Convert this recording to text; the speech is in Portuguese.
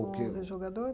Onze jogador?